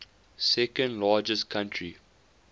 second largest country